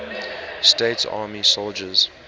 states army soldiers